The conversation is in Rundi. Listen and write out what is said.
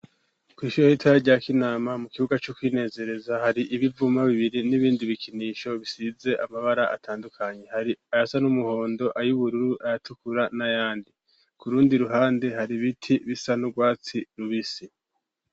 Kw'ishure ritoya rya Kinama mu kibiga co kwinezereza hari ibivuma bibiri n'ibindi bikinisho bisize amabara atandukanye. Hari ayasa n'umuhondo, ay'ubururu, ayatukura n'ayandi. Ku rundi ruhande hari bibti bisa n'urwatsi rubisi.